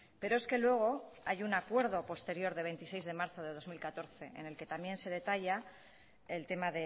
pero es que luego hay un acuerdo posterior de veintiséis de marzo de dos mil catorce en el que también se detalla el tema